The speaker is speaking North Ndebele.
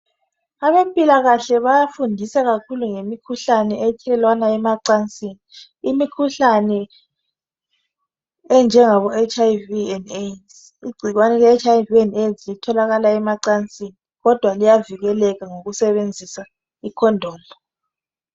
Abezempilakahle bayafundiswa kakhulu ngemikhuhlane ethelelwana emacansini. Imikhuhlane enjengabo HIV and Aids igcikwane leli litholakala emacansini kodwa liyavikeleka ngokusebenzisa i condom